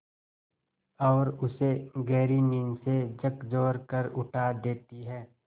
और उसे गहरी नींद से झकझोर कर उठा देती हैं